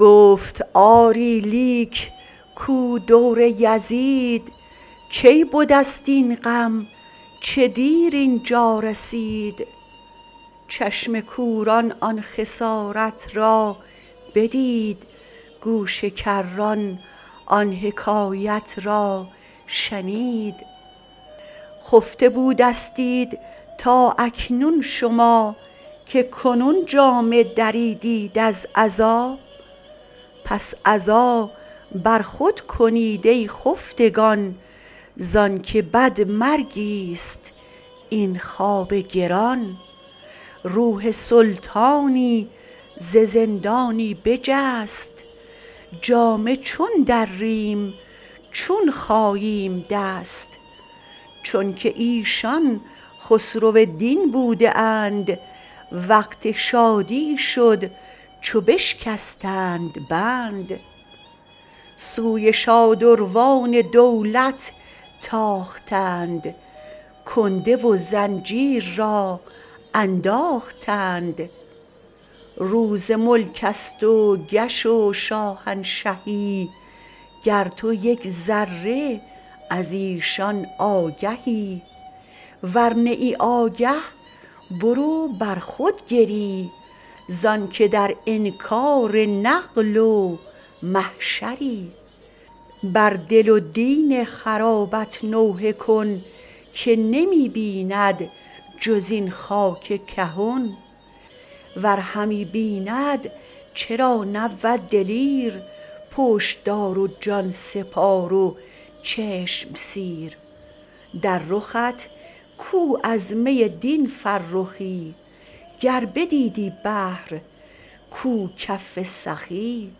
گفت آری لیک کو دور یزید کی بدست این غم چه دیر اینجا رسید چشم کوران آن خسارت را بدید گوش کران آن حکایت را شنید خفته بودستید تا اکنون شما که کنون جامه دریدیت از عزا پس عزا بر خود کنید ای خفتگان زانک بد مرگیست این خواب گران روح سلطانی ز زندانی بجست جامه چون دریم چون خاییم دست چونک ایشان خسرو دین بوده اند وقت شادی شد چو بشکستند بند سوی شادروان دولت تاختند کنده و زنجیر را انداختند روز ملکست و کش و شاهنشهی گر تو یک ذره ازیشان آگهی ور نه ای آگه برو بر خود گری زانک در انکار نقل و محشری بر دل و دین خرابت نوحه کن که نمی بیند جز این خاک کهن ور همی بیند چرا نبود دلیر پشتدار و جانسپار و چشم سیر در رخت کو از می دین فرخی گر بدیدی بحر کو کف سخی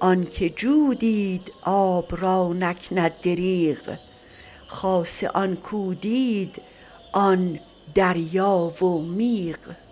آنکه جو دید آب را نکند دریغ خاصه آن کو دید آن دریا و میغ